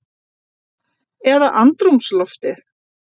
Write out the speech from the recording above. Eða andrúmsloftið?